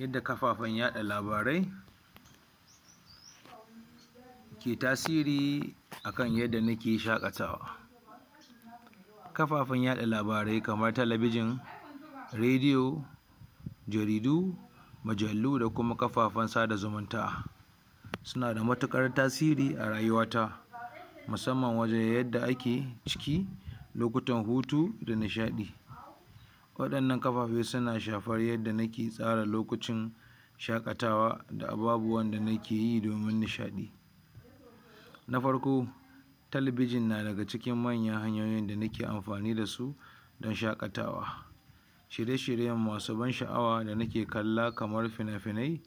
yadda kafafen yaɗa labarai ke tasiri akan yadda nake shaƙatawa. kafafen yaɗa labarai kamar talabijin, radiyo jaridu, mujallu da kuma kafafen sada zumunta suna da matuƙar tasiri a rayuwa ta musamman wajen yadda ake ciki lokutan hutu da nishaɗi waɗannan kafafe suna shafan yanda nake tsara lokacin shaƙatawa da ababuwan da nakeyi domin nishaɗi na farko talabijin na daga cikin manyan hanyoyin da nake amfani dasu dan shaƙatawa shirye shirye masu ban sha'awa da nake kalla kamar finafinai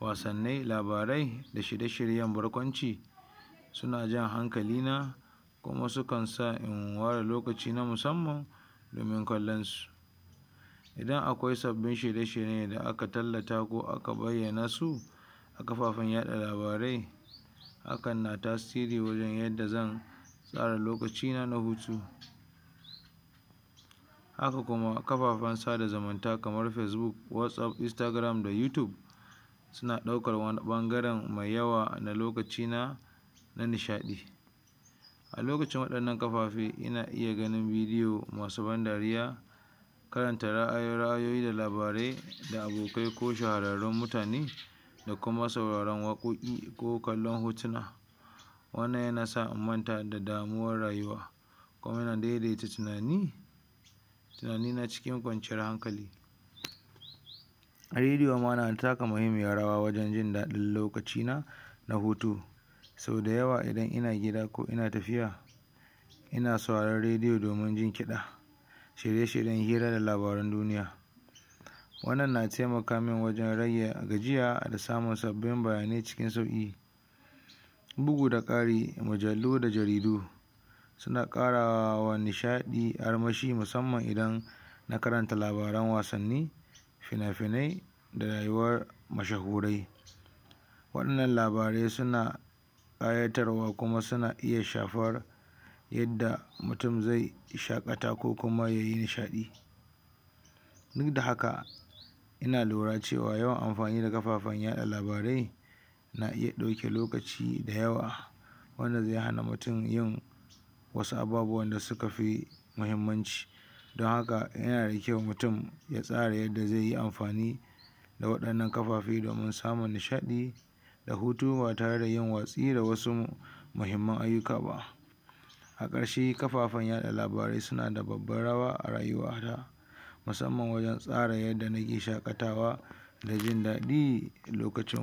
wasannai labarai da shirye shiryen barkwanci suna jan hankalina kuma sukan sa in ware lokaci na musamman domin kallon su idan akwai sabbin shirye shirye da aka tallata ko bayyana su a kafafen yaɗa labarai hakan na tasiri wajen yadda zan tsara lokacina na hutu haka kuma kafafen sada zumunta kamar facebook, watsapp, instagram da youtube suna ɗaukar wani ɓangaren mai yawa na lokacina na nishaɗi a lokacin waɗannan kafafe ina iya ganin bidiyo masu ban dariya karanta ra'ayoyi da labarai da abokai ko shahararrun mutane da kuma sauraren waƙoƙ ko kallon hotuna wannan yana sa in manta da damuwar rayuwa kuma na daidaita tunani tunanina cikin kwanciyar hankali radiyo ma na taka mahimmiyar rawa wajen jin daɗin lokacina na hutu so dayawa idan ina gida ko ina tafiya ina sauraron radiyo domin jin kiɗa shirye shiryen hira da labaran duniya wannan na taimaka min wajen rage gajiya da samun sabbin bayanai cikin sauƙi bugu da ƙari mujallu da jaridu suna ƙarawa nishaɗi armashi musamman idan ina karanta labaran wasanni fina finai da rayuwar mashahurai wanna labarai suna ƙayatar wa kuma suna iya shafar yadda mutum zai shaƙata ko kuma yayi nishaɗi ukda haka ina lura cewar yawan amfani da kafafen yaɗa labarai na iya ɗauke lokaci da yawa wanda zai iya hana mutum yin wasu ababuwan da sukafi mahimmanci dan haka yana da kyau mutum ya stara yadda zaiyi amfani a waɗannan kafafe domin samun nishaɗi da hutu ba tareda yin watsi da wasu mahimman ayyuka ba a ƙarshe kafafen yada labarai suna da babbar rawa a rayuwana musamman wajen tsara yadda nake shaƙatawa da jin daɗi lokacin